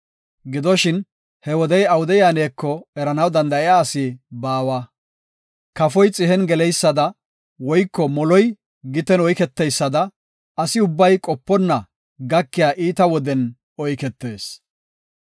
Gidoshin he wodey awude yaaneko eranaw danda7iya asi baawa. Kafoy xihen geleysada woyko moloy giten oyketeysada asi ubbay qoponna gakiya iita woden oyketees.